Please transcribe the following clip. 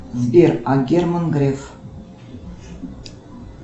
сбер а герман греф